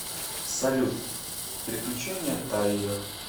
салют приключения тайо